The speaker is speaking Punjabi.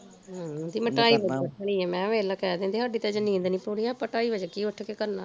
ਹਮ ਕਹਿੰਦੀ ਮੈਂ ਢਾਈ ਵਜੇ ਉਠਣੀ ਆ ਮੈਂ ਕਿਹਾ ਵੇਖਲਾ ਕਹਿ ਦਿੰਦੇ ਸਾਡੀ ਅਜੇ ਨੀਂਦ ਪੂਰੀ, ਆਪਾਂ ਢਾਈ ਵਜੇ ਕੀ ਉਠ ਕੇ ਕਰਨਾ